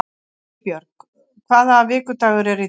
Eybjörg, hvaða vikudagur er í dag?